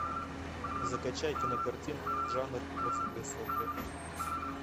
закачай кинокартину жанр розовые сопли